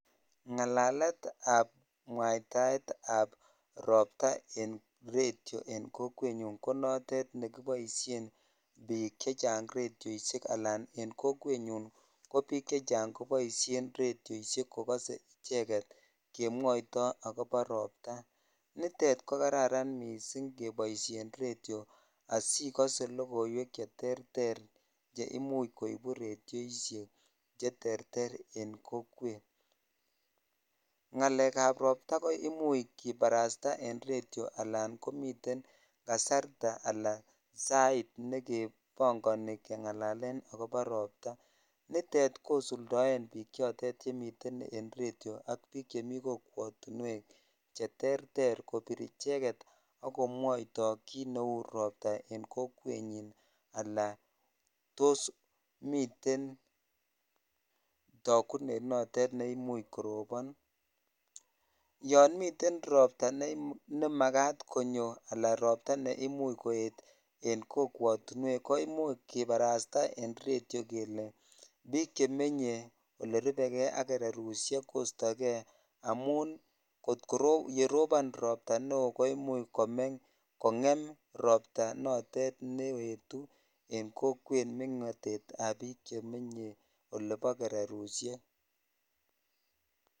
Ng'alaletab mwaetaetab robta en redio en kokwenyun ko notet nekiboishen biik chechang' redioishek alaan en kokwenyun kobiik chechang koboishen redioishek redioishek kokose icheket kemwoito akobo robta, nitet ko kararan mising' keboishen redio asikose lokoiwek cherterter cheimuch koibu radioishek cheterter en kokwet, ng'alekab robta koimuch kibarasta en redio alaan komiten kasarta alaa sait nekebong'oni keng'ala akobo robta, nitet kosuldoen biik chotet chemiten en redio ak biik chemii kokwotinwek cheterter kobir icheket ak komwoito kiit neu robta en kokwenyin alaa toos miten tokunet notet neimuch korobon, yoon miten robta nemakat konyo alaa robta neimuch koet en kokwotinwek koimuch kibarasta en redio kelee biik chemenye ak elerubeke ak kererushek kostokee amun kot korobon robta neoo imuch kong'em robta notet neetu en kokwet meng'otetab biik chemenye olebo kererushek.